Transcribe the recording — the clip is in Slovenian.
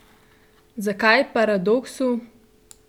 Zakaj paradoksu?